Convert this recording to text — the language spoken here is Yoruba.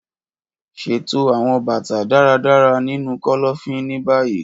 Ṣeto awọn bata daradara ninu kọlọfin ni bayi!